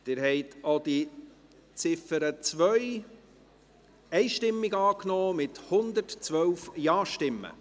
Sie haben auch die Ziffer 2 einstimmig angenommen, mit 112 Ja-Stimmen.